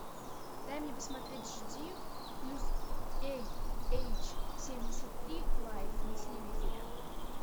дай мне посмотреть жди плюс эй эйч семьдесят три лайф на телевизоре